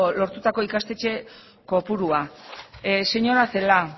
lortutako ikastetxe kopurua señora celaá